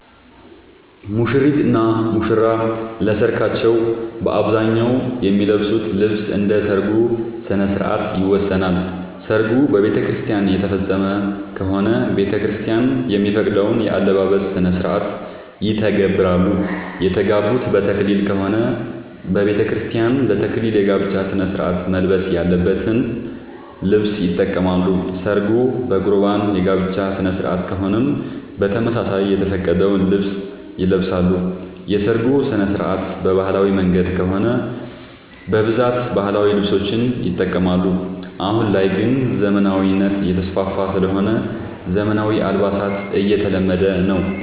ሙሽሪት እና ሙሽራ ለሰርካቸው በአብዛኛው የሚለብሱት ልብስ እንደ ሠርጉ ስነስርዓት ይወሰናል። ሰርጉ በቤተክርስቲያን የተፈፀመ ከሆነ ቤተክርስቲያን የሚፈቅደውን የአለባበስ ስነስርዓት ይተገብራሉ። የተጋቡት በተክሊል ከሆነ በቤተክርስቲያን ለ ተክሊል የጋብቻ ስነስርዓት መልበስ ያለበትን ልብስ ይጠቀማሉ። ሰርጉ በቁርባን የጋብቻ ስነስርዓት ከሆነም በተመሳሳይ የተፈቀደውን ልብስ ይለብሳሉ። የሰርጉ ስነስርዓት በባህላዊ መንገድ ከሆነ በብዛት ባህላዊ ልብሶችን ይጠቀማሉ። አሁን ላይ ግን ዘመናዊነት እየተስፋፋ ስለሆነ ዘመናዊ አልባሳት እየተለመደ ነው።